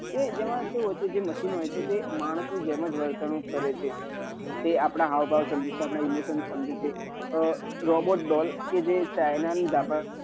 કે જેમાં કેવું હોય છે કે જે machine હોય છે તે માનસ ની જેમ જ વર્તન કરે છે તે આપદા હાવ ભાવ સમજે છે આપદા emotion સમજે છે robot doll કે એ china japan